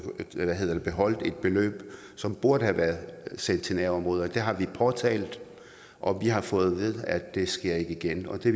beløb som burde have været sendt til nærområderne det har vi påtalt og vi har fået at det ikke sker igen og det